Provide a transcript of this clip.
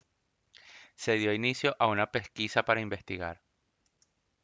se dio inicio a una pesquisa para investigar